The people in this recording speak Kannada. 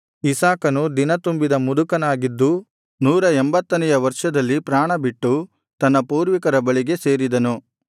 ಇಸಾಕನು ದಿನತುಂಬಿದ ಮುದುಕನಾಗಿದ್ದು ನೂರ ಎಂಭತ್ತನೆಯ ವರ್ಷದಲ್ಲಿ ಪ್ರಾಣಬಿಟ್ಟು ತನ್ನ ಪೂರ್ವಿಕರ ಬಳಿಗೆ ಸೇರಿದನು